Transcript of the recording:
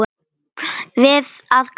Við að gráta saman.